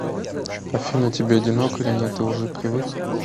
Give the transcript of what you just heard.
афина тебе одиноко или нет ты уже привык